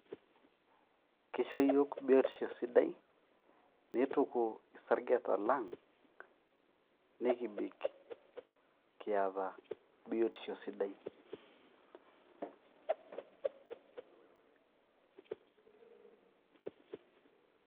kisho iyiook biotisho sidai ,nituku isaregeta lang nikibik kiata biotisho sidai